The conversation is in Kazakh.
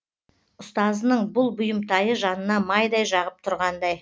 ұстазының бұл бұйымтайы жанына майдай жағып тұрғандай